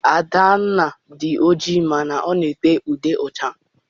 Adanna dị oji mana ọ na- ete ude ọcha.